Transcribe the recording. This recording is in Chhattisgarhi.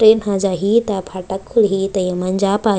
ट्रैन ह जाही त फाटक खुल्ही ते ए मन जा पाही।